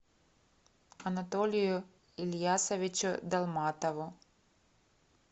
анатолию ильясовичу долматову